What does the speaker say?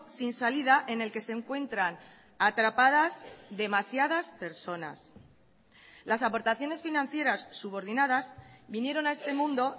sin salida en el que se encuentran atrapadas demasiadas personas las aportaciones financieras subordinadas vinieron a este mundo